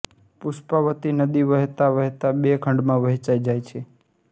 પુષ્પાવતી નદીવહેતા વહેત બે ખંડમાં વહેંચાઈ જાય છે